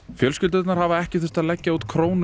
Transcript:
fjölskyldurnar hafa ekki þurft að leggja út krónu